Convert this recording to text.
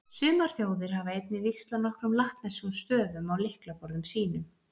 Sumar þjóðir hafa einnig víxlað nokkrum latneskum stöfum á lyklaborðum sínum.